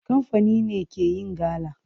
Kamfani ne ke yin gala.